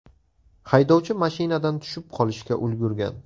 Haydovchi mashinadan tushib qolishga ulgurgan.